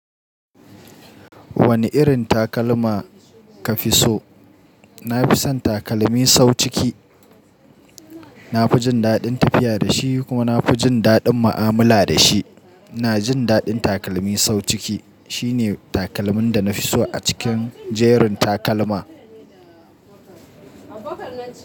Wane irin takalma ka fi so? Na fi son takalmi sau ciki. Na fi jin daɗin tafiya da shi, kuma na fi jin daɗin mu'amala da shi. Na jin daɗin takalmi sau ciki. Shi ne takalmin da na fi so a cikin jerin takalma.